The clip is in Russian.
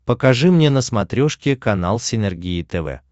покажи мне на смотрешке канал синергия тв